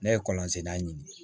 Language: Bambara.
Ne ye kɔlɔn senna ɲini